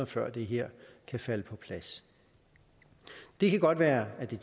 før det her kan falde på plads det kan godt være at det